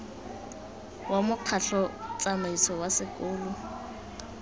wa mokgatlho tsamaiso wa sekolo